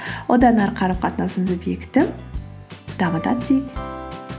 одан ары қарым қатынасымызды бекітіп дамыта түсейік